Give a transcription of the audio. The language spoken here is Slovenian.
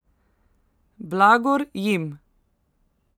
Blagor jim!